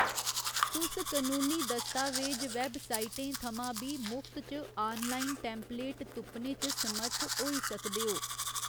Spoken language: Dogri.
तुस कनूनी दस्तावेज वैबसाइटें थमां बी मुफ्त च आनलाइन टेम्पलेट तुप्पने च समर्थ होई सकदे ओ।